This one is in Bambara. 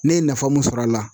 Ne ye nafa mun sɔrɔ a la